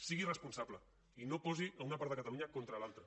sigui responsable i no posi una part de catalunya contra l’altra